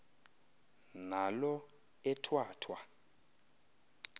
naalo ethwa thwa